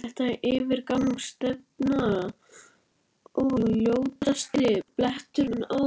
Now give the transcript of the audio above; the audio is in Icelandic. Þetta var yfirgangsstefna og ljótasti bletturinn á